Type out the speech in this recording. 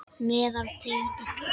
Meðal tegunda eru